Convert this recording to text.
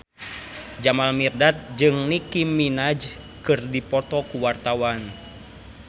Jamal Mirdad jeung Nicky Minaj keur dipoto ku wartawan